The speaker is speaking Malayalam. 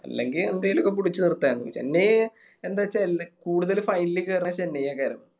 അല്ലെങ്കി എന്തെലൊക്കെ പിടിച്ച് നിർത്തന്നു ചെന്നൈ എന്താച്ചാ കൂടുതല് Final കേറണത് ചെന്നൈയ കേറണത്